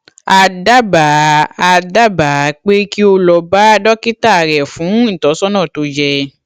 a dábàá a dábàá pé kí o lọ bá dókítà rẹ fún ìtọsọnà tó yẹ